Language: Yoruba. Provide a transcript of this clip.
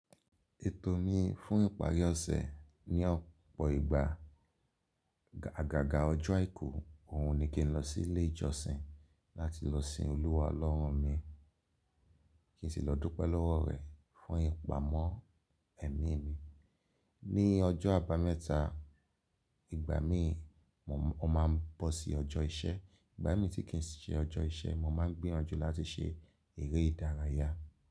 Ètò mi fún ìparí ọ̀sẹ̀ ni ọ̀pọ̀ ìgbà. Agaga ọjọ́ àìkú òun ni kí n lọ sí ilé ìjọsìn láti lọ sin Olúwa Ọlọ́run mi, kí n sì lọ dúpẹ́ lọ́wọ́ rẹ̀ fún ìpamọ́ ẹ̀mí mi. Ni ọjọ́ àbámẹ́ta, ìgbà mí mo máa ń bọ́ sí ọjọ́ iṣẹ́. Ìgbà mí tí kì í ṣe ọjọ́ iṣẹ́, mo máa ń gbéràn jú láti ṣe eré ìdárayá.